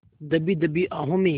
दबी दबी आहों में